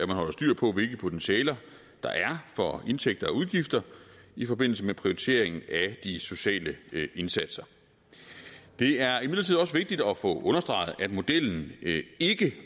man holder styr på hvilke potentialer der er for indtægter og udgifter i forbindelse med prioriteringen af de sociale indsatser det er imidlertid også vigtigt at få understreget at modellen ikke